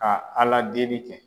Ka Aladeli kɛ